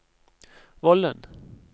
Vollen